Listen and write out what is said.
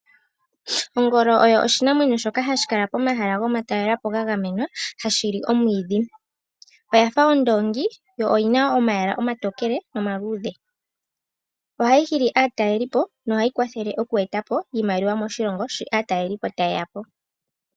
Ongolo oyo oshinamwenyo shoka hashi kala pomahala gomatalelo po ga gamenwa, hashi li omwiidhi. Oya fa ondoongi, yo oyi na omayala omatokele nomaluudhe. Ohayi hili aatalelipo nohayi kwathele oku eta po iimaliwa moshilongo, shi aatalelipo taye ya po.